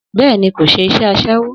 Bẹ́ẹ̀ni, kò ṣe iṣẹ́ asẹ́wó